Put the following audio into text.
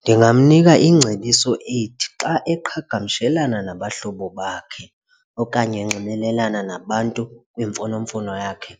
Ndingamnika ingcebiso ethi xa eqhagamshelana nabahlobo bakhe okanye enxibelelana nabantu kwimfonomfono yakhe